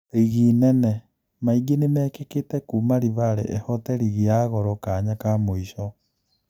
Rigi Nene: Maingĩ nĩmekĩkĩte kuuma Livale ĩhoote rigi ya Goro kanya ka mũico.